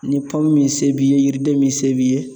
Ni min se b'i ye yiriden min se b'i ye